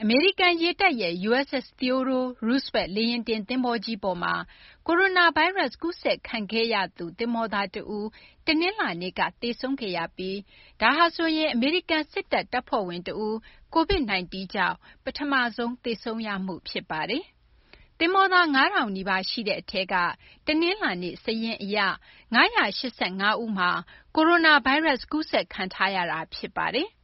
မေရိကန် ရေတပ်ရဲ့ USS Theodore Roosevelt လေယာဉ်တင် သင်္ဘောကြီးပေါ်မှာ ကိုရိုနာဗိုင်းရပ်စ် ကူးစက်ခံခဲ့ရသူ သဘောၤသား တဦး တနင်္လာနေ့က သေဆုံးခဲ့ပြီး ဒါဟာဆိုရင် အမေရိကန်စစ်တပ် တပ်ဖွဲ့ဝင် တဦး COVID -19 ကြောင့် ပထမဆုံး သေဆုံးမှု ဖြစ်ပါတယ်။ သဘောၤသား ၅၀၀၀ နီးပါးရှိတဲ့ အထဲက တနလာၤနေ့ စာရင်းအရ၅၈၅ ဦးမှာ ကိုရိုနာဗိုင်းရပ်စ် ကူးစက်ခံထားရတာ ဖြစ်ပါတယ်။